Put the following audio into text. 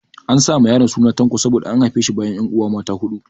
An sa ma yaron suna Tanko saboda an haife shi bayan 'yanuwa mata huɗu.